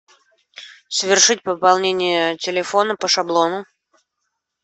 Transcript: совершить пополнение телефона по шаблону